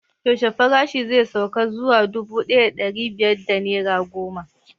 Yaushe farashin zai sauka zuwa dubu ɗaya da ɗari biyar da naira goma?